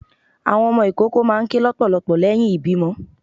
Àwọn ọmọ ìkoko máà ń kè lọpọlọpọ leyín ìbímo